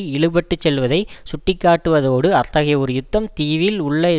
இழுபட்டுச் செல்வதை சுட்டிக்காட்டுவதோடு அத்தகைய ஒரு யுத்தம் தீவில் உள்ள